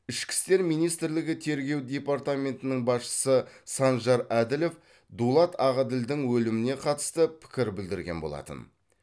ішкі істер министрлігі тергеу департаментінің басшысы санжар әділов дулат ағаділдің өліміне қатысты пікір білдірген болатын